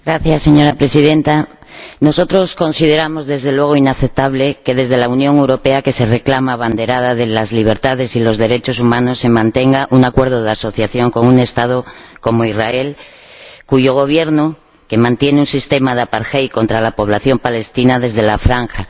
Señora Presidenta, nosotros consideramos desde luego inaceptable que desde la Unión Europea, que se reclama abanderada de las libertades y los derechos humanos, se mantenga un acuerdo de asociación con un Estado como Israel, cuyo Gobierno mantiene un sistema de contra la población palestina en la Franja.